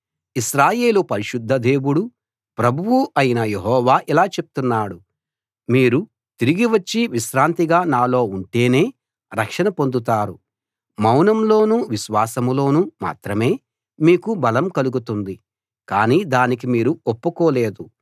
ఇశ్రాయేలు పరిశుద్ధ దేవుడూ ప్రభువూ అయిన యెహోవా ఇలా చెప్తున్నాడు మీరు తిరిగి వచ్చి విశ్రాంతిగా నాలో ఉంటేనే రక్షణ పొందుతారు మౌనంలోనూ విశ్వాసంలోనూ మాత్రమే మీకు బలం కలుగుతుంది కానీ దానికి మీరు ఒప్పుకోలేదు